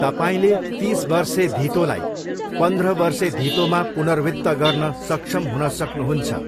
तपाईँले तिस वर्षे धितोलाई पन्ध्र वर्षे धितोमा पुनर्वित्त गर्न सक्षम हुन सक्नुहुन्छ।